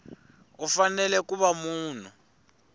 u fanele ku va munhu